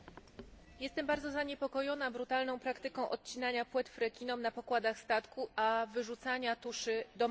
Jestem bardzo zaniepokojona brutalną praktyką odcinania płetw rekinom na pokładach statku i wyrzucania tuszy do morza.